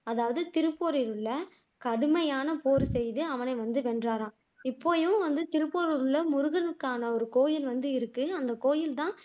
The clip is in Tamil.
அதாவது திருப்பூரில் உள்ள கடுமையான போர் செய்து அவனை வந்து வென்றாராம் இப்போவும் வந்து திருப்பூர் ஊர்ல முருகனுக்கான ஒரு கோவில் வந்து இருக்கு அந்த கோயில்தான்